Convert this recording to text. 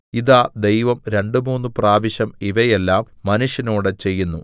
ഇതാ ദൈവം രണ്ടു മൂന്നുപ്രാവശ്യം ഇവയെല്ലം മനുഷ്യനോട് ചെയ്യുന്നു